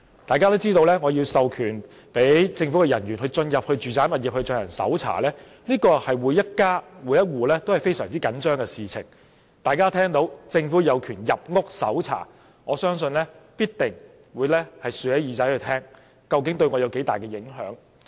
大家均知道，要授權政府人員進入住宅物業搜查，這是每家每戶均非常緊張的事情，大家聽到政府有權入屋搜查，必定會豎起耳朵聆聽究竟對他們會有多大影響。